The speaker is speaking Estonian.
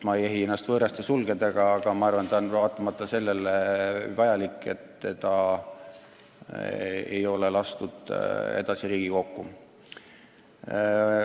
Ma ei ehi ennast võõraste sulgedega, aga ma arvan, et eelnõu on vajalik, kuigi seda ei ole edasi Riigikokku lastud.